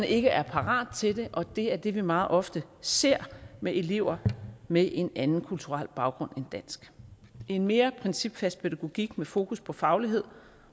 ikke er parate til det og det er det vi meget ofte ser med elever med en anden kulturel baggrund end dansk en mere principfast pædagogik med fokus på faglighed